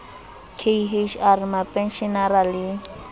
k h r mapenshenara le